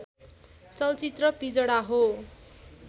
चलचित्र पिजडा हो